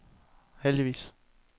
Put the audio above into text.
heldigvis